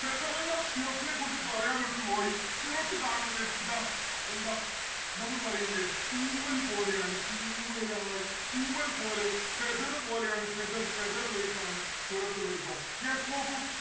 cirrus നെ കുറിച്ച് പറയാൻ വിട്ടുപോയി. cirrus കാണുന്നത് ഇതാ എന്താ നമ്മള് പറയില്ലേ തൂവൽ പോലെയാണ് തൂവലായി തൂവൽ പോലെ feather പോലെയാണ് feather like ക്കാണ് cirrus ഇള്ളത് ട്ടോ. yes നോക്കൂ